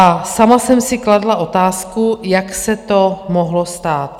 A sama jsem si kladla otázku, jak se to mohlo stát?